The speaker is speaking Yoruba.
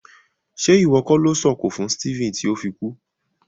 Ṣe iwọ ko lo sọ̀kọ̀ fún Stephen ti o fi kú?